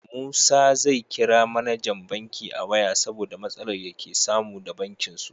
Musa zai kira mAnajan banki a waya saboda matsalar yake samu da bankin su